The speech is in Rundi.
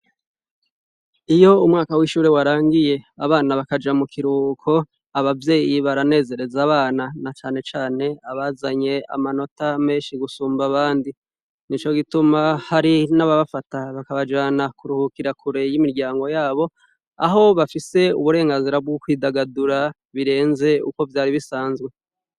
Iyo umwaka w'ishuri warangiye abana bakaja mu kiruko abavyeyi baranezereza abana na canecane abazanye amanota menshi gusumba abandi, nico gituma hari n'ababafata bakabajana kuruhukira kure y'imiryango yabo aho bafise uburenganzira bw'ukwidagadura birenze uko vyari bisanzwe.